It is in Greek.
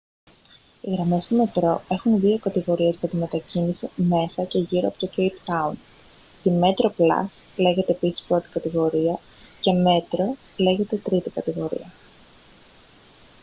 οι γραμμές του μετρό έχουν δύο κατηγορίες για τη μετακίνηση μέσα και γύρω από το κέιπ τάουν: τη metroplus λέγεται επίσης πρώτη κατηγορία και metro λέγεται τρίτη κατηγορία